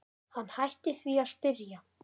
Hann hætti því að spyrja.